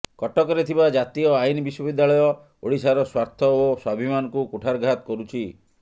କଟକରେ ଥିବା ଜାତୀୟ ଆଇନ ବିଶ୍ବବିଦ୍ୟାଳୟ ଓଡ଼ିଶାର ସ୍ବାର୍ଥ ଓ ସ୍ବାଭିମାନକୁ କୁଠାରଘାତ କରୁଛି